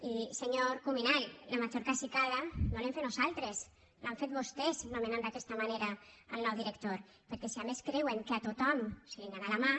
i senyor cuminal la major cacicada no l’hem fet nosaltres l’han fet vostès nomenant d’aquesta manera el nou director perquè si a més creuen que a tothom se li n’ha anat la mà